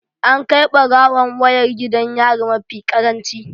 An kai barawon wayar gidan yari mafi karanci